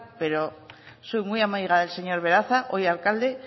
pero soy muy amiga del señor beraza hoy alcalde